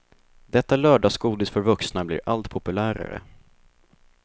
Detta lördagsgodis för vuxna blir allt populärare.